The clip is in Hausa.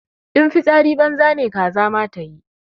In fitsari banza ne kaza ma tayi.